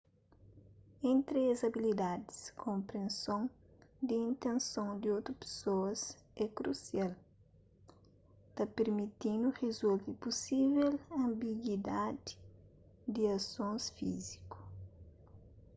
entri es abilidadis konprenson di intenson di otu pesoas é krusial ta permiti-nu rizolve pusível anbiguidadi di asons fíziku